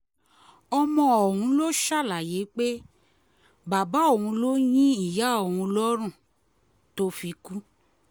ọmọ ọ̀hún ló ṣàlàyé pé bàbá òun ló yin ìyá òun lọ́rùn tó fi kú